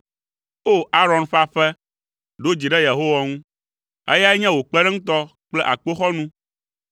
O! Aron ƒe aƒe, ɖo dzi ɖe Yehowa ŋu, eyae nye wò kpeɖeŋutɔ kple akpoxɔnu.